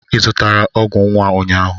Ị zụtara ọgwụ nwa ụnyahụ?